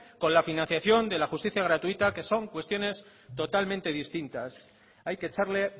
con la financiación de la justicia gratuita que son cuestiones totalmente distintas hay que echarle